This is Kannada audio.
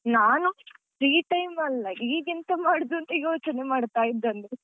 ನಾನು free time ಅಲ್ಲ ಈಗೆಂತ ಮಾಡುದು ಅಂತ ಯೋಚನೆ ಮಾಡ್ತಾ ಇದ್ದದ್ದು .